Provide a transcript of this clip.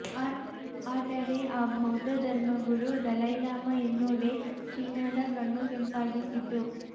ಆದರೆ ಆ ಬೌದ್ಧ ಧರ್ಮಗುರು ದಲೈಲಾಮಾ ಎನ್ನುವುದೇ ಚೀನದ ಕಣ್ಣು ಕೆಂಪಗಾಗಿಸಿದ್ದು